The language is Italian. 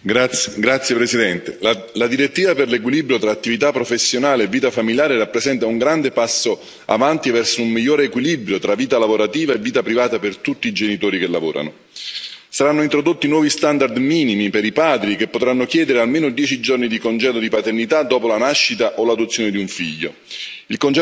Signor Presidente, onorevoli colleghi, la direttiva per l'equilibrio tra attività professionale e vita familiare rappresenta un grande passo avanti verso un migliore equilibrio tra vita lavorativa e vita privata per tutti i genitori che lavorano. Saranno introdotti nuovi standard minimi per i padri, che potranno chiedere almeno dieci giorni di congedo di paternità dopo la nascita o l'adozione di un figlio.